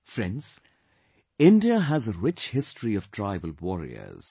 Friends, India has a rich history of tribal warriors